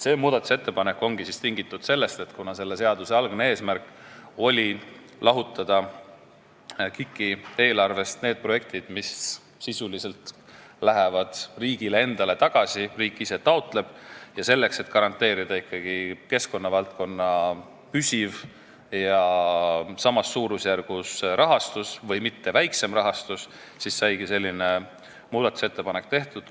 See muudatusettepanek on tingitud sellest, et selle seaduse algne eesmärk oli lahutada KIK-i eelarvest need projektid, mis sisuliselt lähevad riigile endale tagasi, need, mida riik ise taotleb, ja selleks et garanteerida ikkagi keskkonnavaldkonna püsiv ja samas suurusjärgus rahastus või mitte väiksem rahastus, saigi selline muudatusettepanek tehtud.